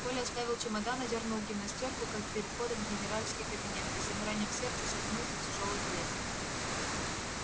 коля оставил чемодан одёрнул гимнастёрку как перед входом в генеральский кабинет и с замиранием сердца скользнул за тяжёлую дверь